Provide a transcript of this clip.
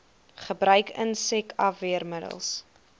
gebruik insek afweermiddels